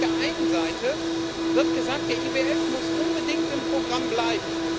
Auf der einen Seite wird gesagt Der IWF muss unbedingt im Programm bleiben.